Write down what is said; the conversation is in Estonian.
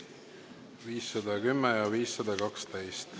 510 ja 512.